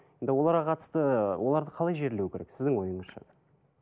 енді оларға қатысты оларды қалай жерлеу керек сіздің ойыңызша